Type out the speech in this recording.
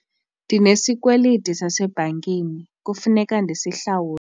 Ndinesikweliti sasebhankini kufuneka ndisihlawule.